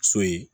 So ye